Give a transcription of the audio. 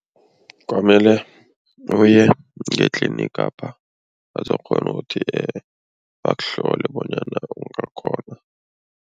Kwamele uye ngetlinigapha bazokukghona ukuthi bakuhlole bonyana ungakghona.